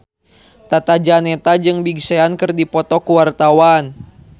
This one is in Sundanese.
Tata Janeta jeung Big Sean keur dipoto ku wartawan